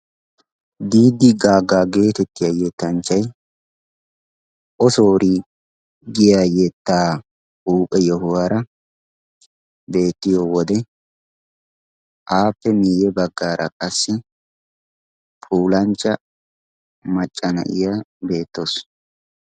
Diidi gaga giyo yetanchay ossoree giyode appe miye bagaara qassi issi puulancha macaasiya beetawusu.